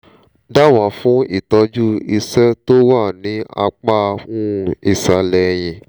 dábàá fún ìtọ́jú ìṣe tó wà ní apá um ìsàlẹ̀ ẹ̀yìn